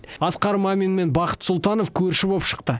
асқар мамин мен бақыт сұлтанов көрші боп шықты